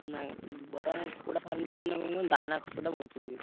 କୁକୁଡ଼ା farm କଲେ କ କହିଲୁ ଦାନା ଖରଚ ବଞ୍ଚିଯିବ।